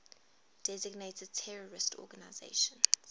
designated terrorist organizations